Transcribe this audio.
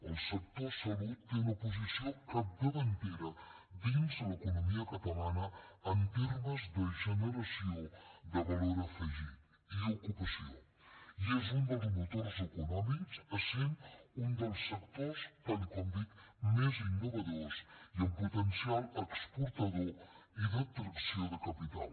el sector salut té una posició capdavantera dins l’economia catalana en termes de generació de valor afegit i ocupació i és un dels motors econòmics essent un dels sectors tal com dic més innovadors i amb potencial exportador i d’atracció de capital